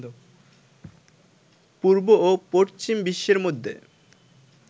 পূর্ব ও পশ্চিম বিশ্বের মধ্যে